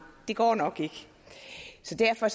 det går nok ikke så derfor